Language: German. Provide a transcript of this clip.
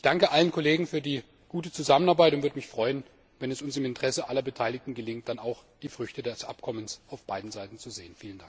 Ich danke allen Kollegen für die gute Zusammenarbeit und würde mich freuen, wenn es uns im Interesse aller Beteiligten gelingt, dann auch die Früchte des Abkommens auf beiden Seiten zu sehen.